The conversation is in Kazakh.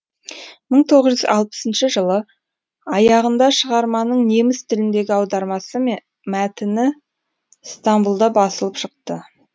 мың тоғыз жүз алпысыншы жылы аяғында шығарманың неміс тіліндегі аудармасы мен мәтіні стамбұлда басылып шықты